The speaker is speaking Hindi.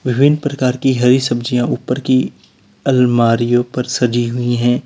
विभिन्न प्रकार की हरी सब्जियां ऊपर की अलमारीयों पर सजी हुई हैं।